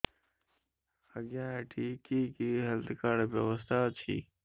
ଆଜ୍ଞା ଏଠି କି କି ହେଲ୍ଥ କାର୍ଡ ବ୍ୟବସ୍ଥା ଅଛି